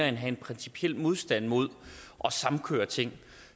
at have en principiel modstand mod at samkøre ting